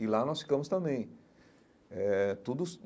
E lá nós ficamos também eh tudo.